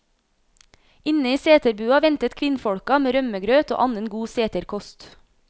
Inne i seterbua ventet kvinnfolka med rømmegrøt og annen god seterkost.